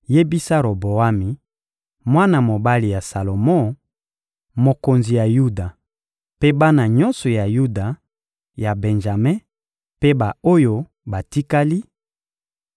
«Yebisa Roboami, mwana mobali ya Salomo, mokonzi ya Yuda; mpe bana nyonso ya Yuda, ya Benjame mpe ba-oyo batikali: